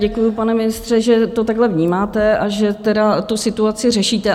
Děkuji, pane ministře, že to takhle vnímáte, a že tedy tu situaci řešíte.